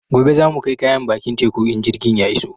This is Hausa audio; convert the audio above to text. Gobe za mu kai kayan bakin teku in jirgin ya iso